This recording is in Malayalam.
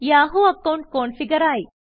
Yahoo account കോൺഫിഗറായി